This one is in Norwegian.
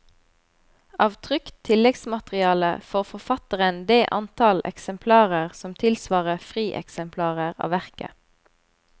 Av trykt tilleggsmateriale får forfatteren det antall eksemplarer som tilsvarer frieksemplarer av verket.